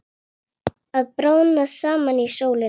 Að bráðna saman í sólinni